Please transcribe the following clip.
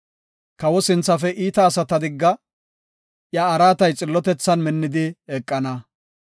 Kawo sinthafe iita asata digga; iya araatay xillotethan minnidi eqana.